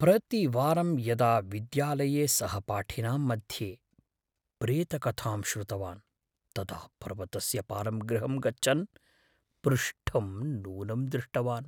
प्रतिवारं यदा विद्यालये सहपाठिनां मध्ये प्रेतकथां श्रुतवान्, तदा पर्वतस्य पारं गृहं गच्छन् पृष्ठं नूनं दृष्टवान्।